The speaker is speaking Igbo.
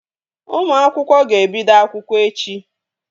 Ụmụ akwụkwọ ga-ebido akwụkwọ echi